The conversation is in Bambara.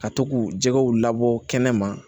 Ka to k'u jɛgɛw labɔ kɛnɛma